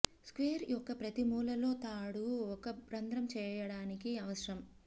square యొక్క ప్రతి మూలలో తాడు ఒక రంధ్రం చేయడానికి అవసరం